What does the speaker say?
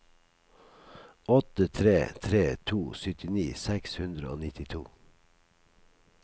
åtte tre tre to syttini seks hundre og nittito